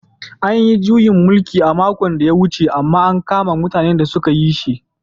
An yi juyin mulki a makon da ya wuce amma an kama mutanen da sun yi shi.